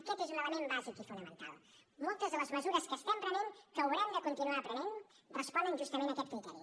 aquest és un element bàsic i fonamental moltes de les mesures que estem prenent que haurem de continuar prenent responen justament a aquest criteri